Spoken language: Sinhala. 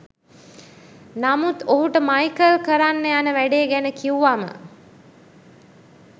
නමුත් ඔහුට මයිකල් කරන්න යන වැඩේ ගැන කිවුවම